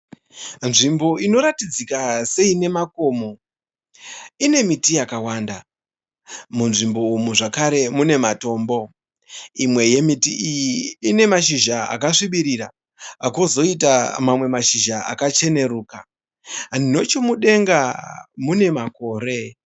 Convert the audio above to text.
Nzvimbo inoratidzika seine makomo, ine miti yakàwanda. Munzvimbo umu zvakare mune matombo, imwe yemiti iyi ine mashizha akasvibirira kwozoita mamwe mashizha akacheneruka nechemudenga mune makore.